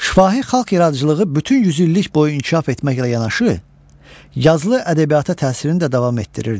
Şifahi xalq yaradıcılığı bütün yüzillik boyu inkişaf etməklə yanaşı yazılı ədəbiyyata təsirini də davam etdirirdi.